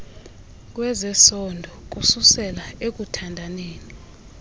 kwezesondo kususela ekuthandaneni